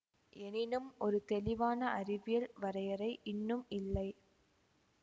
எனினும் ஒரு தெளிவான அறிவியல் வரையறை இன்னும் இல்லை